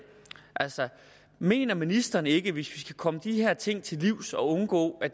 altså mener ministeren ikke at vi skal komme de her ting til livs og undgå at